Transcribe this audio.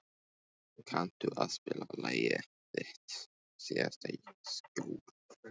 Pálheiður, kanntu að spila lagið „Þitt síðasta skjól“?